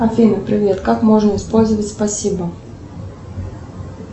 афина привет как можно использовать спасибо